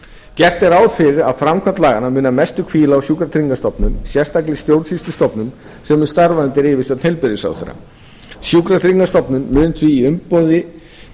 gert er ráð fyrir að framkvæmd laganna muni að mestu hvíla á sjúkratryggingastofnun sérstakri stjórnsýslustofnun sem mun starfa undir yfirstjórn heilbrigðisráðherra sjúkratryggingastofnun mun því í umboði